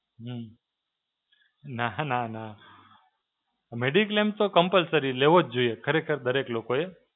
હમ્મ. નાં નાં નાં. Mediclaim તો Compulsory લેવો જ જોઈએ ખરેખર દરેક લોકો એ.